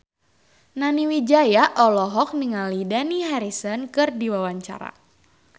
Nani Wijaya olohok ningali Dani Harrison keur diwawancara